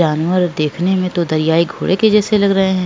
जानवर दिखने में तो दर्यायी घोड़े के जैसे लग रहे है।